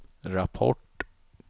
rapport